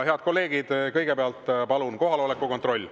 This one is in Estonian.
Head kolleegid, kõigepealt palun kohaloleku kontroll.